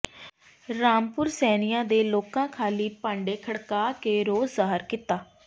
ਰਾਮਪੁਰ ਸੈਣੀਆਂ ਦੇ ਲੋਕਾਂ ਖਾਲੀ ਭਾਂਡੇ ਖੜਕਾ ਕੇ ਰੋਸ ਜ਼ਾਹਰ ਕੀਤਾ